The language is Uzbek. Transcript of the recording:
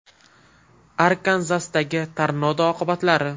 Arkanzasdagi tornado oqibatlari.